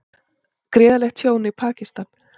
Gríðarlegt tjón í Pakistan